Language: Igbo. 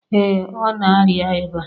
Ee ọ na-arịa ịba